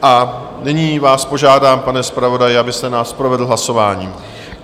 A nyní vás požádám, pane zpravodaji, abyste nás provedl hlasováním.